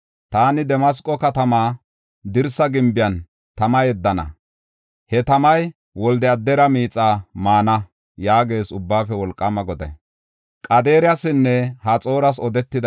Taani Damasqo katama dirsa gimbiyan tama yeddana; he tamay Wolde-Adara miixa maana” yaagees Ubbaafe Wolqaama Goday.